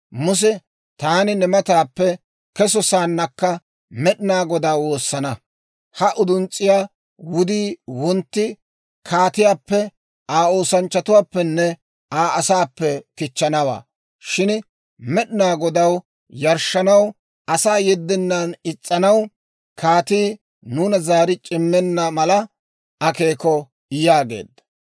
Muse, «Taani ne mataappe keso sa'aannakka Med'inaa Godaa woosana; ha uduns's'iyaa wudii wontti kaatiyaappe, Aa oosanchchatuwaappenne Aa asaappe kichchanawaa. Shin Med'inaa Godaw yarshshanaw asaa yeddennan is's'anaw kaatii nuuna zaari c'immenna mala akeeko» yaageedda.